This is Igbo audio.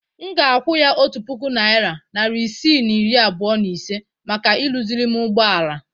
M ga-akwụ ya otu puku naịra, narị isii na iri abụọ na ise maka ịrụzịrị m ụgbọala.